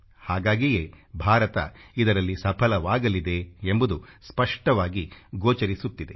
ಹಾಗಾಗಿಯೇ ಭಾರತ ಇದರಲ್ಲಿ ಸಫಲವಾಗಲಿದೆ ಎಂಬುದು ಸ್ಪಷ್ಟವಾಗಿ ಗೋಚರಿಸುತ್ತಿದೆ